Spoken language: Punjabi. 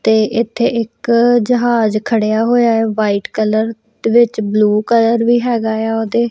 ਤੇ ਇੱਥੇ ਇੱਕ ਜਹਾਜ਼ ਖੜਿਆ ਹੋਇਆ ਹੈ ਵਾਈਟ ਕਲਰ ਦੇ ਵਿੱਚ ਬਲੂ ਕਲਰ ਵੀ ਹੈਗਾ ਆ ਉਹਦੇ।